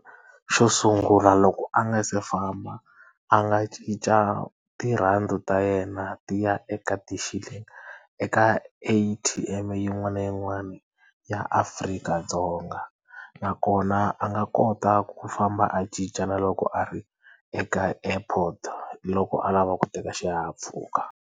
Xo sungula loko a nga si famba a nga cinca tirhandi ta yena ti ya eka ti Shilling eka A_T_M-e yin'wana na yin'wana ni ya Afrika-Dzonga nakona a nga kota ku famba a cinca na loko a ri eka airport-o loko a lava ku teka xihahampfhuka.